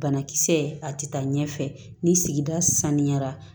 Banakisɛ a ti taa ɲɛfɛ ni sigida saniyara